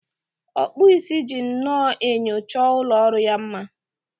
Ọkpụ isi ji nnọọ enyo chọọ ụlọ ọrụ ya mma.